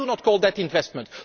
I do not call that investment.